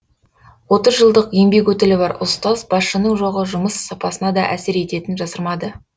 отыз жылдық еңбек өтілі бар ұстаз басшының жоғы жұмыс сапасына да әсер ететінін жасырмады